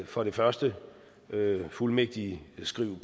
for det første fuldmægtigskriv